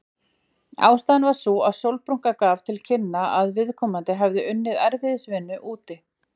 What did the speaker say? Ástæðan var sú að sólbrúnka gaf til kynna að viðkomandi hefði unnið erfiðisvinnu úti.